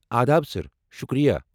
آداب سر! آ شکریہ۔